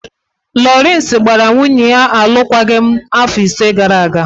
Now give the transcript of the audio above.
Lawrence gbara nwunye ya alụkwaghịm afọ ise gara aga.